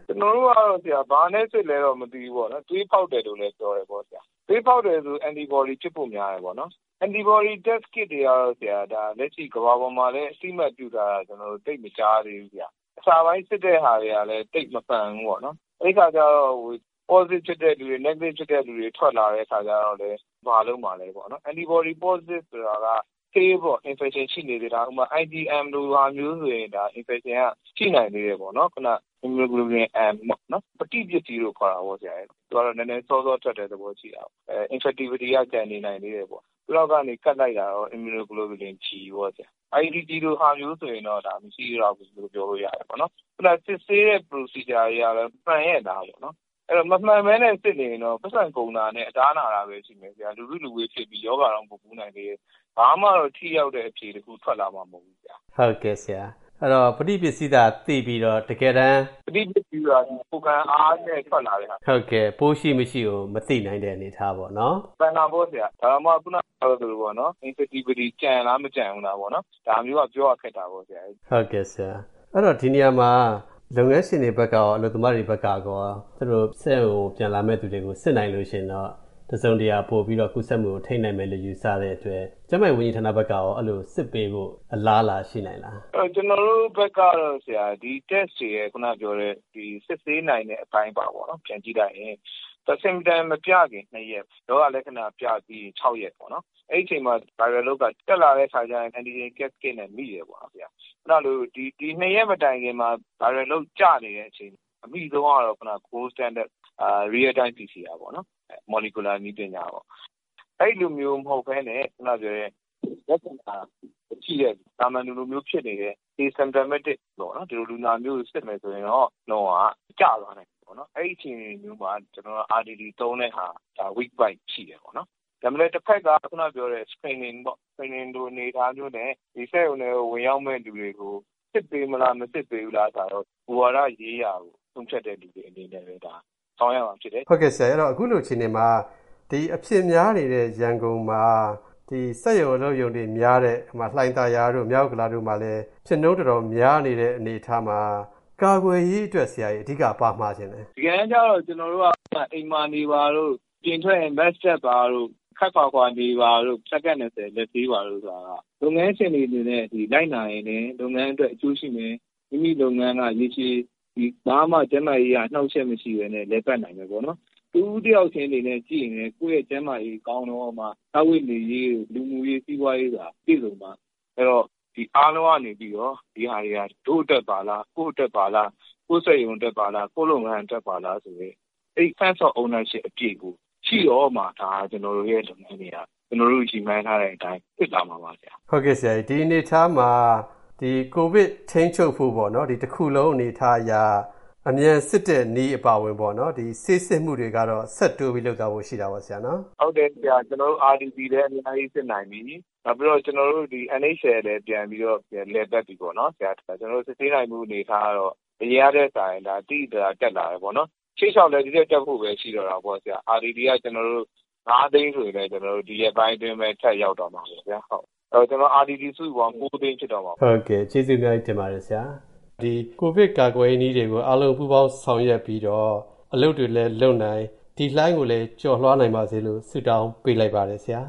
ကျနော်တို့ကတော့ ဘာနဲ့ စစ်လဲတော့ မသိဘူးပေါ့နော်။ သွေးဖောက်တယ်လို့လည်း ပြောတယ်ပေါ့။ သွေးဖောက်တယ်ဆိုတော့ Antibody ဖြစ်ဖို့ များတယ်ပေါ့နော်။ Antibody Test Kit တွေကတော့ လက်ရှိ ကမ္ဘာပေါ်မှာလည်း အသိအမှတ်ပြုထားတာ သိပ်မကြားသေးဘူး။ အစပိုင်း စစ်တာကလည်း သိပ်မမှန်ဘူးပေါေ့နာ်၊ အဲဒီအခါကျတော့ Positive ဖြစ်တဲ့လူတွေ Negative ဖြစ်တဲ့လူတွေ ထွက်လာတဲ့အခါကျတော့လည်း ဘာလုပ်မှာလဲပေါ့နော်။ Antibody Positive ဆိုတာက Still Infection ရှိနေတာတောင်မှ IgM လိုတောင်ဆိုရင် Infection ရှိနိုင်သေးတယ်ပေါေ့နာ်။ Immunoglobulin M ပေါ့၊ ပဋိပစ္စည်း လို့ခေါ်တာပေါ့နော်၊ သူကတော့ နည်းနည်းစောစော ထွက်တဲ့သဘောရှိတာပေါ့။ Infectivity ကတော့ ကျန်နေနိုင်သေးတယ်ပေါေ့နာ်။ နောက်ကနေ ကပ်လိုက်တာကတော့ Immunoglobulin G ပေါ့ဆရာ၊ ဒီ IgG လိုဆိုရင်တော့၊ ပိုး မရှိသလောက်လို့ ပြောလို့ရတယ်ပေါ့နော်။စစ်ဆေးတဲ့ Procedure တွေကလည်း မှန်ရဲ့လားပေါ့နော်။ အဲဒီတော့ မမှန်ပဲနဲ့ စစ်နေရင်တော့ ပိုက်ဆံကုန်တာနဲ့ အသားနာတာပဲ ရှိမယ်ဆရာ။ လူစုလူဝေးဖြစ်ပြီး ရောဂါတောင် ပိုကူးနိုင်တယ်။ ဘာမှ ထိရောက်တဲ့ အဖြေတခု ထွက်လာမှာ မဟုတ်ဘူး။ ဟုတ်ကဲ့။ အဲဒီတော့ ပဋိပစ္စည်းသာ သိပြီးတော့၊ တကယ်တမ်း… ပဋိပစ္စည်း ဆိုတာက ကိုယ်ခံအားနဲ့ထွက်လာတဲ့ဟာ။ ဟုတ်ကဲ့၊ ပိုးရှိမရှိကိုတော့ မသိနိုင်တဲ့အနေအထားပေါ့နော်။ မှန်တာပေါ့ဆရာ ဒါတောင်မှ ခုနပြောသလို Infectivity ကျန်လား မကျန်လားဆိုတာမျိုးက ပြောရ ခက်တာပေါေ့နာ်။ ဟုတ်ကဲ့ဆရာ ဒီနေရာမှာ လုပ်ငန်းရှင်တွေဘက်ကရော၊ အလုပ်သမားတွေဘက်ကရော၊ စက်ရုံကို ပြန်လာမယ့်သူတွေကို စစ်နိုင်ရင်တော့ တစုံတရာပိုပြီးတော့ ကူးစက်မှုကို ထိန်းနိုင်မယ်လို့ ယူဆတဲ့အတွက်၊ ကျန်းမာရေးဝန်ကြီးဌာနဘက်ကရော အဲဒီလို စစ်ပေးဖို့ အလားအလာရှိနိုင်သလား။ ကျနော်တို့ဘက်ကတော့ ဒီ Test တွေရဲ့ ခုနပြောတဲ့ စစ်ဆေးနိုင်တဲ့အတိုင်းအတာပေါ့နော် ပြန်ကြည့်လိုက်ရင်၊ သူက Symptom မပြခင် ၂ ရက် ၊ ရောဂါလက္ခဏာ ပြပြီးရင် ၆ ရက်ပေါ့နော်၊ အဲဒီအချိန်မှာ Viral Load က တက်လာတဲ့အခါကျရင် Antigen Test Kit နဲ့ မိတယ်ပေါ့နော်။ ခုနလို ဒီ ၂ ရက်မတိုင်ခင်မှာ Viral Load ကျနေတဲ့အချိန်မှာ၊ အမိဆုံးကတော့ Gold Standard Real Time PCR ပေါ့နော်။ မော်လီကျူလာ နည်းပညာပေါ့နော်။ အဲလိုမျိုးမဟုတ်ပဲနဲ့ ခုနပြောတဲ့ လက္ခဏာမရှိတဲ့ သာမန်လူလိုမျိုးဖြစ်နေတဲ့ Asymptomatic ဒီလိုလူနာမျိုးကို စစ်မယ်ဆိုရင်တော့၊ Viral Load ကျသွားနိုင်တယ်ပေါ့နော်။ အဲဒီအချိန်မျိုးမှာ ကျနော်တို့က RDT သုံးတဲ့အခါ၊ ကျနော်တို့ Weak Point ရှိတယ်ပေါ့နော်။ ဒါပေမယ့် တဖက်က ခုနပြောတဲ့ Screening လိုအနေအထားမျိုးနဲ့ စက်ရုံထဲကို ဝင်ရောက်မယ့်လူတွေကို စစ်ပေးမလား၊ မစစ်ပေးဘူးလားဆိုတာတော့၊ မူဝါဒရေးရာကို ဆုံးဖြတ်တဲ့လူတွေအနေနဲ့ ဆောင်ရွက်ရမှာဖြစ်တယ်။ ဟုတ်ကဲ့အခုလိုအခြေအနေမှာ ဒီအဖြစ်များနေတဲ့ ရန်ကုန်မှာ စက်ရုံအလုပ်ရုံတွေများတဲ့ လှိုင်သာယာတို့ ၊ မြောက်ဥက္ကလာပ တို့မှာ ဖြစ်နှုန်းများနေတဲ့ အနေအထားမှာ၊ ကာကွယ်ရေးအတွက် အဓိက ဘာမှာချင်သလဲ။ တကယ်တမ်းကျတော့ ကျနော်တို့က အိမ်မှာနေပါတို့၊ အပြင်ထွက်ရင် Mask တပ်ပါတို့ ၊ ခပ်ခွာခွာနေပါတို့ ဆိုတာက လုပ်ငန်းရှင်တွေအနေနဲ့ လိုက်နာရင်လည်း၊ လုပ်ငန်းအတွက် အကျိုးရှိမယ်။ မိမိလုပ်ငန်းက ရေရှည်လည်း ဘာမှ ကျန်းမာရေးအရ အနှောင့်အယှက်မရှိပဲနဲ့ လည်ပတ်နိုင်မယ်ပေါ့နော်။ တစ်ဦးတစ်ယောက်ချင်းစီအတွက် ကြည့်မယ်ဆိုရင်လည်း ကိုယ့်ကျန်းမာရေး ကောင်းတော့မှ စားဝတ်နေရေး ၊ လူမှုရေး ၊ စီးပွားရေးဆိုတာ ပြည့်စုံမှ ဆိုတော့၊ ဒီအားလုံးကနေပြီးတော့ ဒါတွေဟာ ဒို့အတွက်ပါလား၊ ကိုယ့်အတွက်ပါလား ၊ ကိုယ့်စက်ရုံအတွက်ပါလား ကိုယ့်လုပ်ငန်းအတွက်ပါလားဆိုတဲ့ Sense of Ownership ရှိတော့မှ၊ ဒါ ကျနော်တို့ ရည်မှန်းထားတဲ့အတိုင်း ဖြစ်လာမှာပါဆရာ။ ဒီအနေအထားမှာ ဒီ COVID ထိန်းချုပ်ဖို့၊ ဒီ တခုလုံးအနေအထားအရ အမြန်စစ်တဲ့နည်းအပါအဝင်ပေါ့နော် ၊ ဒီဆေးစစ်မှုတွေကတော့ ဆက်တိုးပြီး လုပ်သွားဖို့ရှိတာပေါ့နော် ဆရာ။ ဟုတ်တယ်။ ကျနော်တို့ RDT လည်း အများကြီး စစ်နိုင်ပြီ။ နောက်ပြီးတော့ ကျနော်တို့ NHL လည်း ပြန်ပြီးတော့ လည်ပတ်ပြီပေါေ့နာ် ဆရာ။ ကျနော်တို့ စစ်ဆေးနိုင်မှုအနေအထားကတော့ အရင်ကထက်စာရင် သိသိသာသာ တက်လာတယ်ပေါ့နော်။ ရှေ့လျောက်လည်း ဒီထက် တက်ဖို့ရှိတော့မယ်၊ RDT က ကျနော်တို့ ၅ သိန်း၊ ဒီရက်ပိုင်းအတွင်း ထပ်ရောက်မှာလေဆရာ။ RDT စုစုပေါင်း ၉ သိန်းဖြစ်တော့မှာပေါ့နော် ။ ဟုတ်ကဲ့ကျေးဇူးအများကြီးတင်ပါတယ်ဆရာ ။ ဒီကိုဗစ်ကာကွယ်ရေးနည်းတွေကို၊ အားလုံး ပူးပေါင်းဆောင်ရွက်ပြီးတော့၊ အလုပ်တွေလည်းလုပ်နိုင်၊ ဒီလှိုင်းကိုလည်းကျော်လွှားနိုင်ပါစေလို့ ဆုတောင်းပေးလိုက်ပါတယ်ဆရာ